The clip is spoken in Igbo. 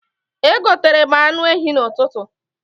Egoterem anụ ehi n'ụtụtụ